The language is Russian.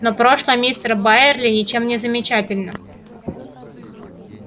но прошлое мистера байерли ничем не замечательно